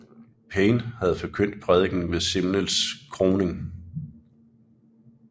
Payne havde forkyndt prædikenen ved Simnels kroning